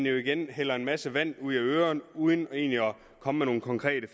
igen hældte en masse vand ud af ørerne uden egentlig at komme med nogen konkrete